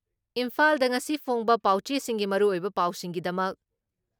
ꯏꯝꯐꯥꯜꯗ ꯉꯁꯤ ꯐꯣꯡꯕ ꯄꯥꯎꯆꯦꯁꯤꯡꯒꯤ ꯃꯔꯨꯑꯣꯏꯕ ꯄꯥꯎꯁꯤꯡꯒꯤꯗꯃꯛ